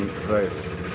rauð